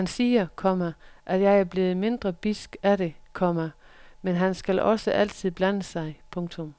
Han siger, komma at jeg er blevet mindre bidsk af det, komma men han skal også altid blande sig. punktum